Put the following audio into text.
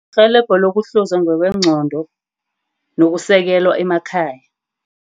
Irhelebho lokuhluzwa ngokwengcondo nokusekelwa emakhaya.